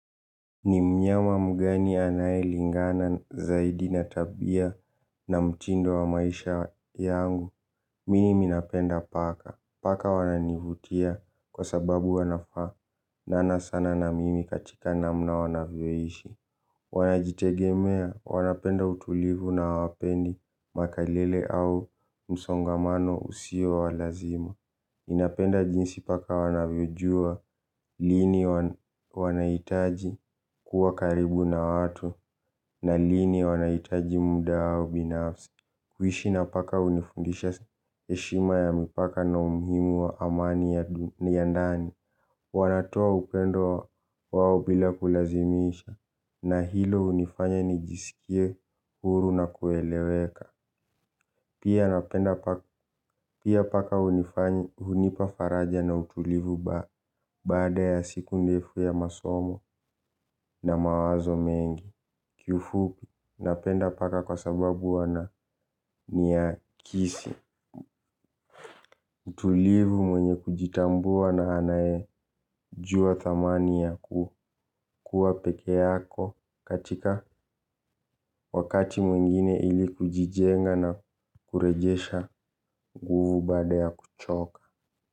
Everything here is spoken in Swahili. Ni mnyama mgani anayelingana zaidi na tabia na mtindo wa maisha yangu. Mimi napenda paka, paka wananivutia kwa sababu wanafaa Nana sana na mimi katika namna wanavyoishi. Wanajitegemea, wanapenda utulivu na hawapendi makelele au msongamano usio wa lazima ninapenda jinsi paka wanavyojua, lini wanahitaji kuwa karibu na watu na lini wanahitaji muda wao binafsi. Kuishi na paka hunifundisha heshima ya mipaka na umuhimu wa amani ya ndani. Wanatoa upendo wao bila kulazimisha na hilo hunifanya nijisikie huru na kueleweka. Pia napenda paka hunipa faraja na utulivu baada ya siku ndefu ya masomo na mawazo mengi. Kiufupi napenda paka kwa sababu wananiakisi. Utulivu mwenye kujitambua na anayejua thamani ya kukuwa pekee yako katika wakati mwingine ili kujijenga na kurejesha nguvu baada ya kuchoka.